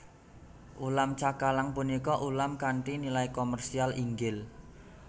Ulam cakalang punika ulam kanthi nilai komersial inggil